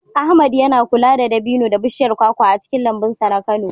Ahmad yana kula da dabino da bishiyar kwakwa a cikin lambun sa na Kano.